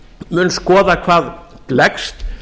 mun skoða hvað gleggst